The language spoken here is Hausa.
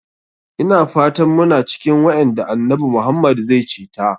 Ina fatan muna cikin waƴanda annabi Muhammad zai ceta.